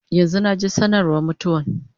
Yanzu naje sanarwa mutuwan